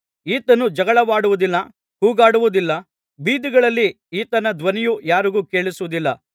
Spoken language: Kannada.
ಈತನು ಜಗಳವಾಡುವುದಿಲ್ಲ ಕೂಗಾಡುವುದಿಲ್ಲ ಬೀದಿಗಳಲ್ಲಿ ಈತನ ಧ್ವನಿಯು ಯಾರಿಗೂ ಕೇಳಿಸುವುದಿಲ್ಲ